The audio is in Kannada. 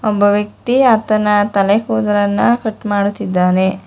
ಒಬ್ಬ ವ್ಯಕ್ತಿ ಆತನ ತಲೆ ಕೂದಲನ್ನ ಕಟ್ ಮಾಡ್ತಾ ಇದ್ದಾನೆ.